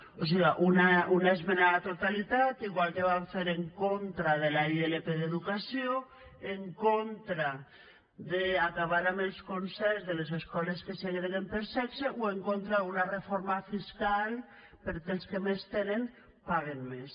o siga una esmena a la totalitat igual que van fer en contra de la ilp d’educació en contra d’acabar amb els concerts de les escoles que segreguen per sexe o en contra d’una reforma fiscal perquè els que més tenen paguen més